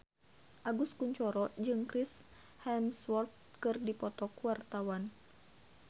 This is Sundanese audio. Agus Kuncoro jeung Chris Hemsworth keur dipoto ku wartawan